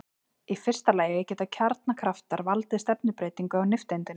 Í fyrsta lagi geta kjarnakraftar valdið stefnubreytingu á nifteindinni.